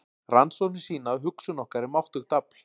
Rannsóknir sýna að hugsun okkar er máttugt afl.